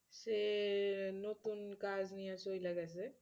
সে নতুন কাজ নিয়ে চইলা গেছে।